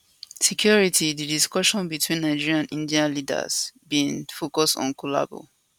security di discussion between di nigeria and india leaders bin focus on collabo